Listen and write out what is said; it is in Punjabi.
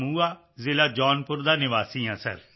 ਜੰਮੂਆ ਜ਼ਿਲ੍ਹਾ ਜੌਨਪੁਰ ਦਾ ਨਿਵਾਸੀ ਹਾਂ ਸਰ